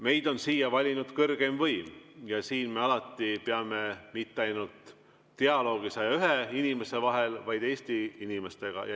Meid on siia valinud kõrgeim võim ja siin me peame alati dialoogi mitte ainult 101 inimese vahel, vaid ka Eesti inimestega.